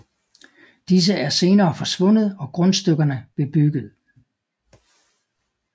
Disse er senere forsvundet og grundstykkerne bebygget